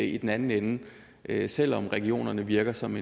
i den anden ende ende selv om regionerne virker som